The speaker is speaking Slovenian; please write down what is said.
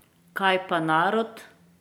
Kaj pa narod?